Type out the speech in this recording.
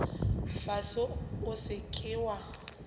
fase o se ke wa